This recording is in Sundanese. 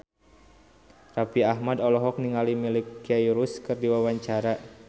Raffi Ahmad olohok ningali Miley Cyrus keur diwawancara